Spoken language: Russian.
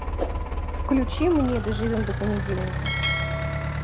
включи мне доживем до понедельника